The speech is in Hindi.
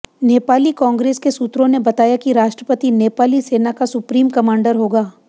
नेपाली कांग्रेस के सूत्रों ने बताया कि राष्ट्रपति नेपाली सेना का सुप्रीम कमांडर होगा